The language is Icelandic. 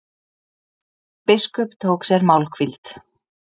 Biskup tók sér málhvíld.